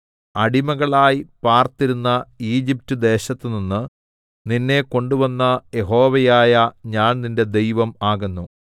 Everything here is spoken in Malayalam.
അടിമകളായി പാര്‍ത്തിരുന്ന ഈജിപ്റ്റ്ദേശത്തുനിന്ന് നിന്നെ കൊണ്ടുവന്ന യഹോവയായ ഞാൻ നിന്റെ ദൈവം ആകുന്നു